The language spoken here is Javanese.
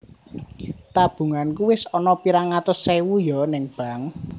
Tabunganku wis ono pirang atus ewu yo ning Bank